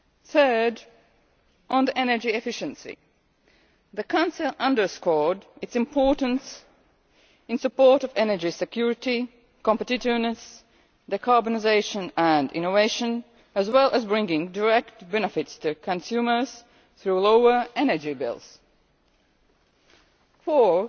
Third, on energy efficiency, the Council underscored its importance in support of energy security, competitiveness, decarbonisation and innovation, as well as bringing direct benefits to consumers through lower energy bills. Fourth,